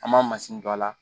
An masini don a la